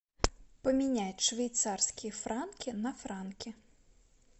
поменять швейцарские франки на франки